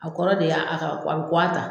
A kɔrɔ de y'a a ka a bɛ kuwa ta.